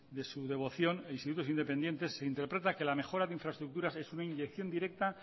de su devoción institutos independientes se interpreta que la mejora de infraestructuras es una inyección directa